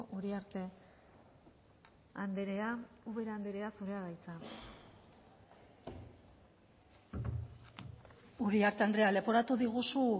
uriarte andrea ubera andrea zurea da hitza uriarte andrea leporatu diguzu